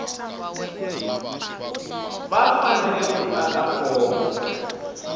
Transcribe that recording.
va fanele ku tata fomo